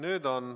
Nüüd on.